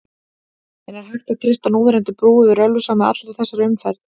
En er hægt að treysta núverandi brú yfir Ölfusá með allri þessari umferð?